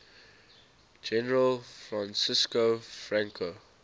general francisco franco